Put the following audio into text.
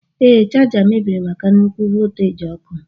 Ee, chaja mebiri maka nnukwu volteji ọkụ.